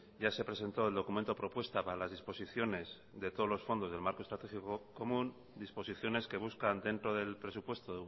ya se presentó el documento propuesta para las disposiciones de todos los fondos del marco estratégico común disposiciones que buscan dentro del presupuesto